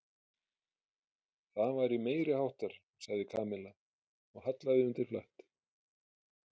Það væri meiriháttar sagði Kamilla og hallaði undir flatt.